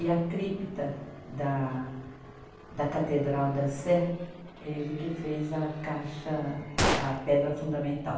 E a crípta da da Catedral da Sé, ele que fez a caixa, a pedra fundamental.